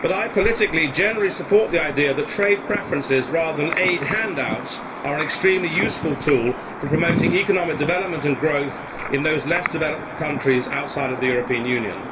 Politically, I generally support the idea that trade preferences rather than aid handouts are an extremely useful tool for promoting economic development and growth in those less developed countries outside the European Union.